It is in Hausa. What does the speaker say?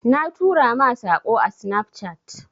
Na tura ma Sako ã Snapchat.